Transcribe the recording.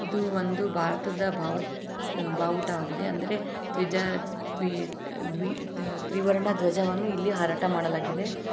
ಇದು ಒಂದು ಭಾರತದ ಭಾವ ಭಾವುಟವಾಗಿದೆ ಅಂದರೆ ತ್ವಿಜ ತ್ವಿ ದ್ವಿ ತ್ರಿವರ್ಣ ದ್ವಜವನ್ನು ಇಲ್ಲಿ ಹಾರಾಟ ಮಾಡಲಾಗಿದೆ.